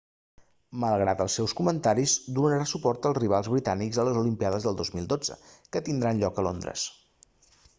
malgrat els seus comentaris donarà suport als rivals britànics a les olimpíades del 2012 que tindran lloc a londres